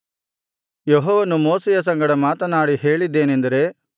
ಯೆಹೋವನು ಮೋಶೆಯ ಸಂಗಡ ಮಾತನಾಡಿ ಹೇಳಿದ್ದೇನೆಂದರೆ